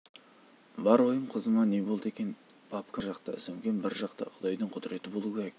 бар ойым қызыма не болды екен папкам бір жақта сөмкем бір жақта құдайдың құдіреті болу керек